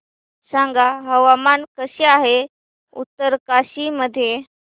सांगा हवामान कसे आहे उत्तरकाशी मध्ये